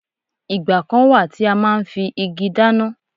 Ìgbà kan wà tí a máa ń fi igi dáná.